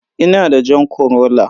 Ina da jan corolla.